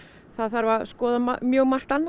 það þarf að skoða mjög margt annað